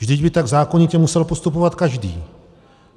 Vždyť by tak zákonitě musel postupovat každý.